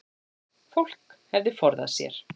Fólk hefði forðað sér